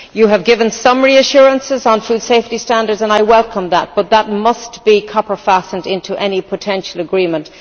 You have given some reassurances on food safety standards and I welcome that, but that must be copper fastened into any potential agreement.